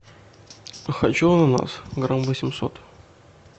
хочу ананас грамм восемьсот